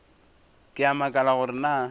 ke a makala gore na